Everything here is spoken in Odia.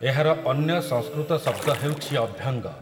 ଏହାର ଅନ୍ୟ ସଂସ୍କୃତ ଶବ୍ଦ ହେଉଛି ଅଭ୍ୟଙ୍ଗ ।